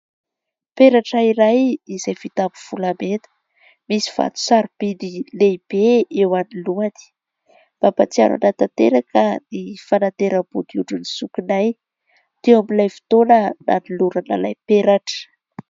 Peratra iray izay vita amin'ny volamena. Misy vato saro-bidy lehibe eo anoloany, mampatsiaro an'ahy tanteraka ny fanateram-bodiondrin'ny zokinay, teo amin'ilay fotoana nanolorana ilay peratra.